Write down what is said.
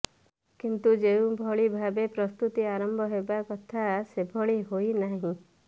କିନ୍ତୁ ଯେଉଁ ଭଳି ଭାବେ ପ୍ରସ୍ତୁତି ଆରମ୍ଭ ହେବା କଥା ସେଭଳି ହୋଇନାହିଁ